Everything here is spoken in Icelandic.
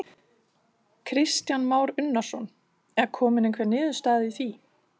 Kristján Már Unnarsson: Er komin einhver niðurstaða í því?